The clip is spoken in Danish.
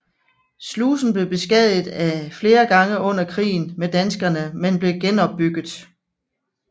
Slusen blev beskadiget flere gange under krigen med danskerne men blev genopbygget